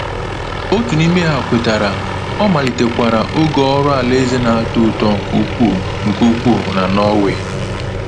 Otu n’ime ha kwetara, ọ malitekwara oge ọrụ alaeze na-atọ ụtọ nke ukwuu nke ukwuu na Norway.